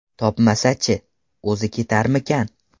Topmasa-chi, o‘zi ketarmikan?